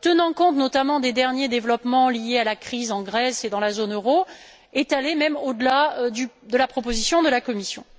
tenant compte notamment des derniers développements liés à la crise en Grèce et dans la zone euro, est allé même au delà de la proposition de la Commission.